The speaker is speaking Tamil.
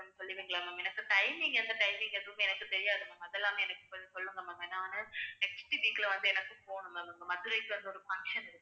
கொஞ்சம் சொல்லுவீங்களா ma'am எனக்கு timing எந்த timing எதுவுமே எனக்கு தெரியாது ma'am அதெல்லாம் எனக்கு கொஞ்சம் சொல்லுங்க ma'am நானு next week ல வந்து எனக்கு போகணும் ma'am இப்ப மதுரைக்கு வந்து ஒரு function